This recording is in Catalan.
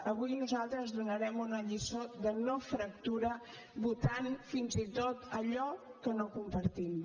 avui nosaltres donarem una lliçó de no fractura votant fins i tot allò que no compartim